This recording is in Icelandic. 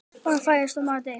Barn fæðist og maður deyr.